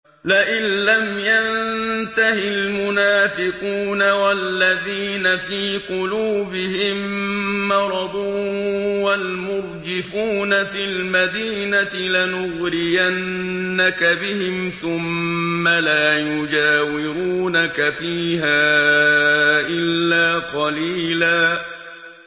۞ لَّئِن لَّمْ يَنتَهِ الْمُنَافِقُونَ وَالَّذِينَ فِي قُلُوبِهِم مَّرَضٌ وَالْمُرْجِفُونَ فِي الْمَدِينَةِ لَنُغْرِيَنَّكَ بِهِمْ ثُمَّ لَا يُجَاوِرُونَكَ فِيهَا إِلَّا قَلِيلًا